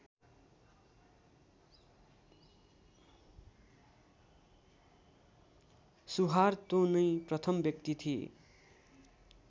Suharto नै प्रथम व्यक्ति थिए